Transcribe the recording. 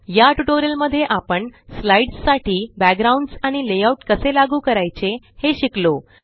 या ट्यूटोरियल मध्ये आपण स्लाइड्स साठी बॅकग्राउंड्स आणि लेआउट कसे लागू करायचे हे शिकलो